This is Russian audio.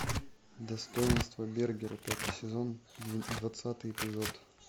достоинство бергера пятый сезон двадцатый эпизод